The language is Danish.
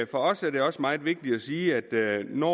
for os er det også meget vigtigt at sige at når